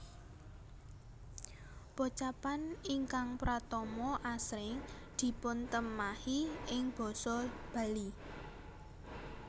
Pocapan ingkang pratama asring dipuntemahi ing basa Bali